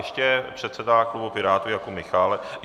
Ještě předseda klubu Pirátů Jakub Michálek.